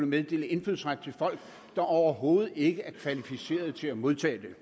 meddele indfødsret til folk der overhovedet ikke er kvalificerede til at modtage det